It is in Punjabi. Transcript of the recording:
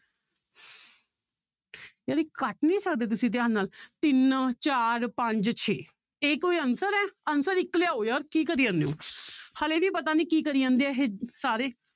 ਜਾਣੀ ਕੱਟ ਨੀ ਸਕਦੇ ਤੁਸੀ ਧਿਆਨ ਨਾਲ ਤਿੰਨ ਚਾਰ ਪੰਜਾ ਛੇ ਇਹ ਕੋਈ answer ਹੈ answer ਇੱਕ ਲਿਆਓ ਯਾਰ ਕੀ ਕਰੀ ਜਾਂਦੇ ਹੋ ਹਾਲੇ ਵੀ ਪਤਾ ਨੀ ਕੀ ਕਰੀ ਜਾਂਦੇ ਹੈ ਇਹ ਸਾਰੇ